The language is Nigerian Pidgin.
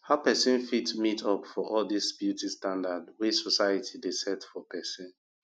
how pesin fit meet up for all dis beauty standard wey society dey set for pesin